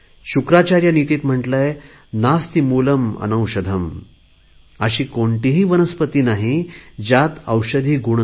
शुक्राचार्य नीतीत म्हटले आहे नास्ति मूलं अनौषधं अशी कोणतीही वनस्पती नाही ज्यात औषधी गुण नाही